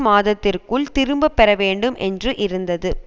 மாதத்திற்குள் திரும்ப பெறப்படும் என்று இருந்தது